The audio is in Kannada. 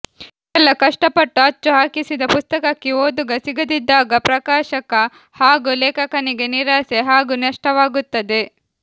ಇಷ್ಟೆಲ್ಲಾ ಕಷ್ಟಪಟ್ಟು ಅಚ್ಚು ಹಾಕಿಸಿದ ಪುಸ್ತಕಕ್ಕೆ ಓದುಗ ಸಿಗದಿದ್ದಾಗ ಪ್ರಕಾಶಕ ಹಾಗೂ ಲೇಖಕನಿಗೆ ನಿರಾಸೆ ಹಾಗೂ ನಷ್ಟವಾಗುತ್ತದೆ